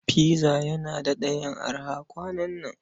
Pizza yana daɗa yin araha kwanan nan.